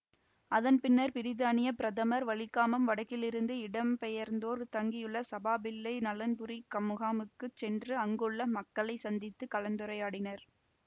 அதன் பின்னர் பிரித்தானிய பிரதமர் வலிகாமம் வடக்கிலிருந்து இடம்பெயர்ந்தோர் தங்கியுள்ள சபாபதிப்பிள்ளை நலன்புரி முகாமுக்குச் சென்று அங்குள்ள மக்களை சந்தித்து கலந்துரையாடினார்